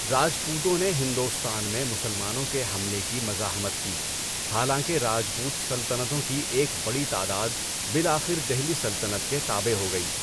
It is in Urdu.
راجپوتوں نے ہندوستان میں مسلمانوں کے حملوں کی مزاحمت کی، حالانکہ راجپوت سلطنتوں کی ایک بڑی تعداد بالآخر دہلی سلطنت کے تابع ہو گئی۔